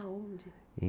Aonde?